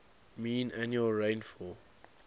mean annual rainfall